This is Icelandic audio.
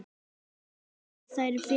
Raggi virðir þær fyrir sér.